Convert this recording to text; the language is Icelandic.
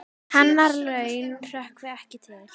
Hennar laun hrökkvi ekki til.